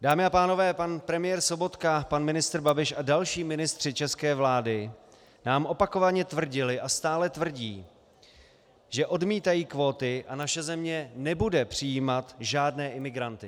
Dámy a pánové, pan premiér Sobotka, pan ministr Babiš a další ministři české vlády nám opakovaně tvrdili a stále tvrdí, že odmítají kvóty a naše země nebude přijímat žádné imigranty.